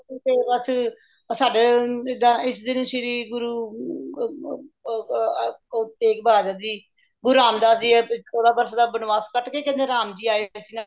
ਤੇ ਬੱਸ ਸਾਡੇ ਇਸ ਦਿਨ ਸ਼੍ਰੀ ਗੁਰੂ ਅਹ ਗੁਰੂ ਤੇਗ ਬਹਾਦਰ ਜ਼ੀ ਗੁਰੂ ਰਾਮਦਾਸ ਜੀ ਏ ਚੋਦਾਂ ਵਰਸ਼ ਦਾ ਬਨਵਾਸ ਕੱਟਕੇ ਕਹਿੰਦੇ ਰਾਮ ਜੀ ਆਏ ਸੀ ਨਾ